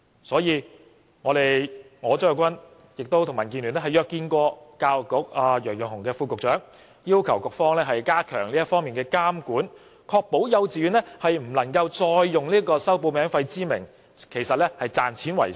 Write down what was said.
所以，我張國鈞和民建聯曾一同約見教育局楊潤雄副局長，要求局方加強這方面的監管，確保幼稚園不能再以收取報名費為名，賺錢為實。